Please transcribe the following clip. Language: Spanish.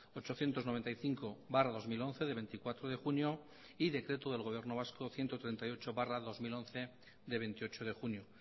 ochocientos noventa y cinco barra dos mil once de veinticuatro de junio y decreto del gobierno vasco ciento treinta y ocho barra dos mil once de veintiocho de junio